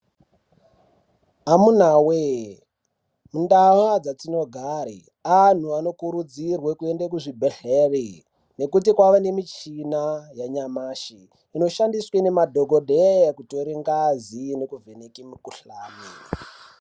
Amunawee, mundau dzatinogare anhu anokurudzirwe kuenda kuzvibhedhleri nekuti kwava nemichina yanyamashi inoshandiswe ngemadhokodheye kutore ngazi nekuvheneke mikuhlani.